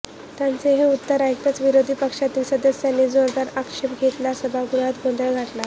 त्यांचे हे उत्तर ऐकताच विरोधी पक्षांतील सदस्यांनी जोरदार आक्षेप घेत सभागृहात गोंधळ घातला